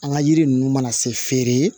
An ka yiri ninnu mana se feere